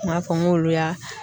N ma fɔ n k'olu y'a